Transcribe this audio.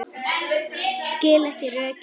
Skil ekki rökin.